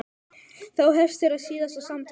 Þá hefst þeirra síðasta samtal.